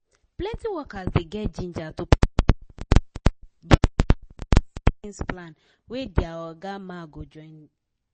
plenty workers dey get ginger to put money for retirement savings plan wey their oga ma go join